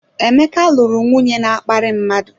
Emeka lụrụ nwunye na-akparị mmadụ.